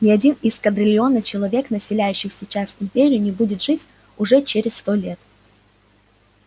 ни один из квадрильона человек населяющих сейчас империю не будет жить уже через сто лет